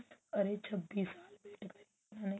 ਅਰੇ ਛੱਬੀ ਸਾਲ wait ਕੀਤੀ ਉਹਨੇ